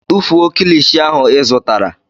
Tụfuo kilishi ahụ ị zụtara!